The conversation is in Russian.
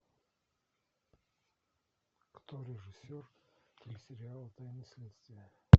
кто режиссер телесериала тайны следствия